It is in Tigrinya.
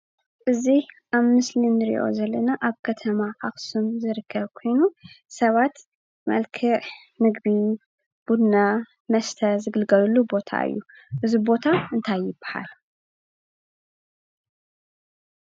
እዙይ ኣብ ምስሊ እንርእዮ ዘለና ኣብ ከተማ ኣክሱም ዝረከብ ኮይኑ ሰባት መልክዕ ምግቢ፣ ቡና ፣መስተ ዝግልገልሉ ቦታ እዩ። እዙይ ቦታ እንታይ ይብሃል?